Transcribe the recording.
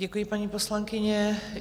Děkuji, paní poslankyně.